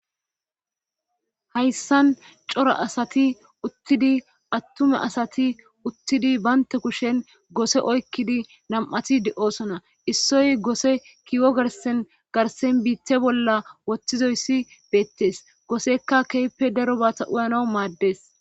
hayssan cora asati uttidi attume asati uttidi baynte kushen gose oykkidi nam7ati de7oosona issoy goose kiwo garsen garsen biitte bolla wottizoyssi beettes goosekka keepe daro baata uyanau maaddes